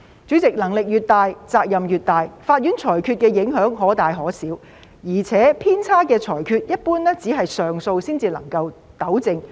主席，能力越大，責任越大，法院裁決的影響可大可小，而且偏差的裁決一般只是透過上訴才能糾正。